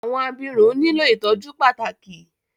Awọn abirun nilo ìtọjú pàtàkì